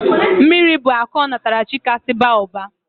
Mmiri bụ akụ onatarachi kachasị baa ụba